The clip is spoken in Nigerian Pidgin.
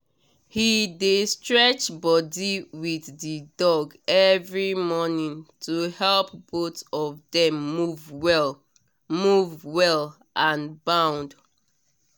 he dey stretch body with the dog every morning to help both of them move well move well and bond